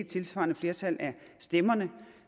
tilsvarende flertallet af stemmerne